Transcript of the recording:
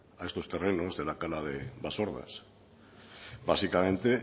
a estos terrenos de la cala de basordas básicamente